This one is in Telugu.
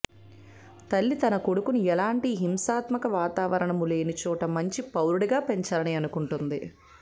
తల్లి తన కొడుకును ఎలాంటి హింసాత్మక వాతావరణము లేని చోట మంచి పౌరుడుగా పెంచాలని అనుకుంటుంది